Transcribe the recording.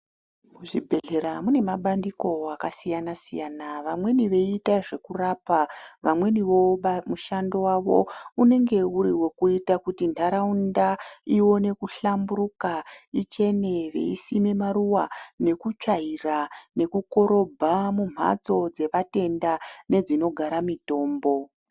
Muzvibhedhlera munema bandiko akasiyana siyana vamweni veyitazvekurapa vamweniwo mushando wavo unenge uri wekuita kuti ndaraunda iwone kuhlamburuka ichene veisime maruwa nekutsvaira nekukorobha mumhatso dzevatenda nedzinogara mitombo.